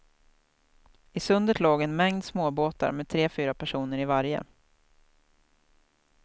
I sundet låg en mängd småbåtar med tre, fyra personer i varje.